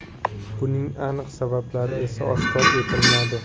Buning aniq sabablari esa oshkor etilmadi.